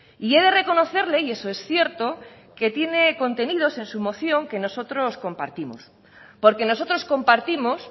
y he de reconocerle y eso es cierto que tiene contenidos en su moción que nosotros compartimos porque nosotros compartimos